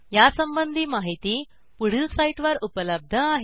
यासंबंधी माहिती पुढील साईटवर उपलब्ध आहे